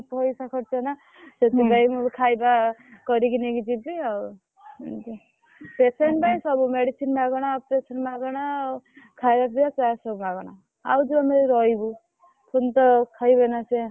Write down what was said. ପଇସା ଖର୍ଚ୍ଚ ନା ସେଥିପାଇଁ ମୁଁ ବି ଖାଇବା କରିକି ନେଇକି ଯିବି ଆଉ patient ପାଇଁ ସବୁ medicine ମାଗଣା operation ମାଗଣା ଖାଇବା ପିବା charge ସବୁ ମାଗଣା ଆଉ ଯୋଉ ଆମେ ରହିବୁ ପୁଣି ତ ଖାଇବେନା ସିଏ।